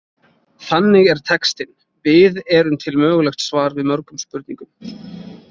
Þannig er textinn Við erum til mögulegt svar við mörgum spurningum.